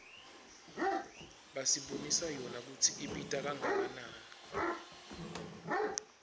basibonisa yona kutsi ibita kangakanani